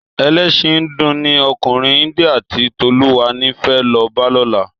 Èlèsín híndù ni òkúnrín India ti Toluwani fè lò bá lòlá